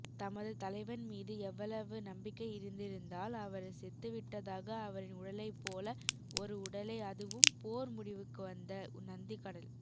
தமது தலைவன்மீது எவளவு நம்பிக்கை இருந்திருந்தால் அவர் செத்துவிட்டதாக அவரின் உடலைப்போல ஒரு உடலை அதுவும் போர் முடிவுக்குவந்த நந்திக்கடல்